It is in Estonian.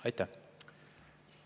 Aitäh!